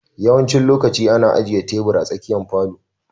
Yawancin lokaci ana ajiye tebur a tsakiyar falon.